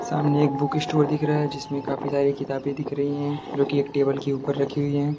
सामने एक book store दिख रहा है जिसमें काफी सारी किताबें दिख रही हैं जो कि एक टेबल के ऊपर रखी हुई हैं।